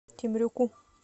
темрюку